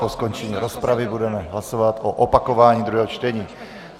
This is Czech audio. Po skončení rozpravy budeme hlasovat o opakování druhého čtení.